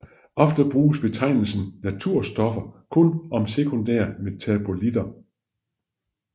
Ofte bruges betegnelsen naturstoffer kun om sekundære metabolitter